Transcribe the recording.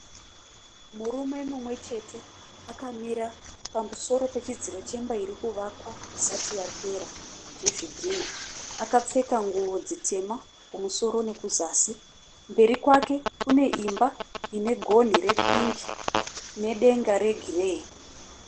Murume mumwe chete akamira pamusoro pechidziro cheimba iri kuvakwa isati yapera chezvidhinha. Akapfeka nguwo dzitema kumusoro nokuzasi. Mberi kwake kune imba ine gonhi repingi nedega regireyi.